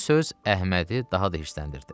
Bu söz Əhmədi daha da hirsləndirdi.